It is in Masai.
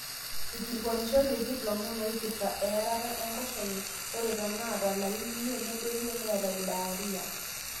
eikilikuanishoteki lomon ooipirta earata enkoshoke ore toonaata ilarin imiet nedoyio neeta diarrhea